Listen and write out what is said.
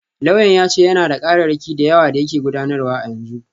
Lauyan ya ce yana da kararraki da yawa da yake gudanarwa a yanzu.